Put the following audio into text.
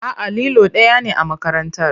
A'a, lilo ɗaya ne a makarantar.